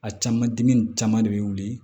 A caman dimi nin caman de bɛ wuli